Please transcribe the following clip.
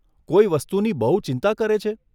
કોઈ વસ્તુની બહુ ચિંતા કરે છે?